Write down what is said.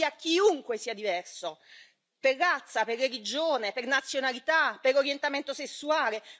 Si odia chiunque sia diverso, per razza, per religione, per nazionalità, per orientamento sessuale.